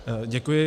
Děkuji.